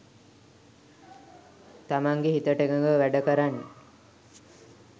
තමන්ගේ හිතට එකඟව වැඩකරන්න